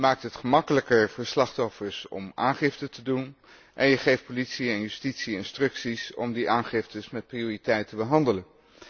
Je maakt het gemakkelijker voor slachtoffers om aangifte te doen, en je geeft politie en justitie instructies om die aangiftes met prioriteit te behandelen.